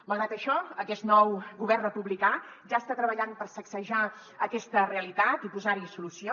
malgrat això aquest nou govern republicà ja està treballant per sacsejar aquesta realitat i posar hi solució